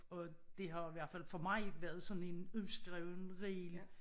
Og det har i hvert fald for mig været sådan en uskreven regel